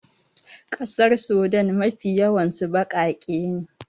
ƙasar Sudan Mafi yawansu bakake ne